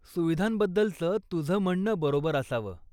सुविधांबद्दलचं तुझं म्हणणं बरोबर असावं.